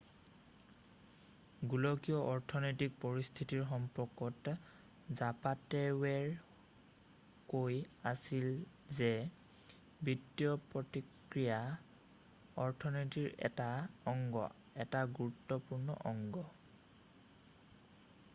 "গোলকীয় অৰ্থনৈতিক পৰিস্থিতিৰ সম্পৰ্কত জাপাটেৰ'ৱে কৈ আছিল যে "বিত্তীয় প্ৰক্ৰিয়া অৰ্থনীতিৰ এটা অংগ এটা গুৰুত্বপূৰ্ণ অংগ।""